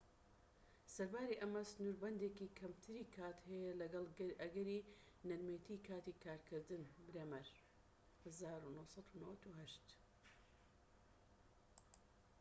سەرباری ئەمە سنوربەندێکی کەمتری کات هەیە لەگەڵ ئەگەری نەرمێتیی کاتی کارکردن. برێمەر، ١٩٩٨